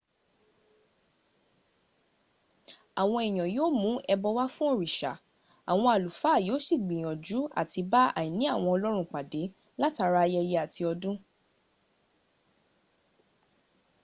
àwọn èèyàn yíò mún ẹbọ wá fún òrìṣà àwọn àlúfà yí ó sì gbìyànjú à ti bá àìní àwọn ọlọ́run pàdé látara ayẹyẹ àti ọdún